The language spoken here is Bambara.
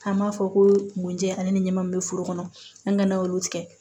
An b'a fɔ ko mɔnjɛ ani ɲɛmin bɛ foro kɔnɔ an kana olu tigɛ